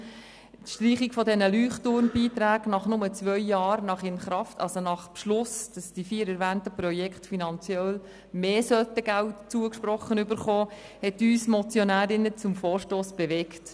Die Streichung der Leuchtturmbeiträge nur zwei Jahre nach dem Beschluss, wonach die vier erwähnten Projekte finanziell mehr Geld zugesprochen erhalten sollen, hat uns Motionärinnen zu diesem Vorstoss bewegt.